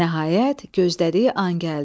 Nəhayət, gözlədiyi an gəldi.